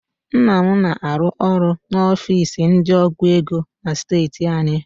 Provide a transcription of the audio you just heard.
Nna m na-arụ ọrụ n'ofiisi ndị ọgụ ego steeti anyị